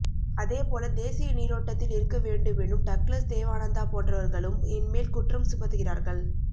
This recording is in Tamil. அதேபோல தேசிய நீரோட்டத்தில் இருக்க வேண்டுமெனும் டக்ளஸ் தேவானந்தா போன்றவர்களும் என் மேல் குற்றம் சுமத்துகிறார்கள்